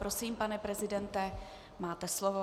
Prosím, pane prezidente, máte slovo.